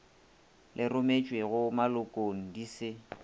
le rometšwego malokong di se